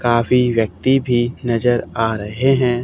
काफी व्यक्ति भी नजर आ रहे हैं।